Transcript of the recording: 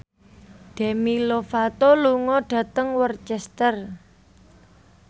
Demi Lovato lunga dhateng Worcester